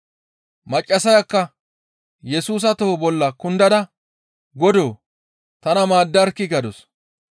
Maccassayakka Yesusa toho bolla kundada, «Godoo! Tana maaddarkkii!» gadus.